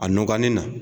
A nɔgɔni na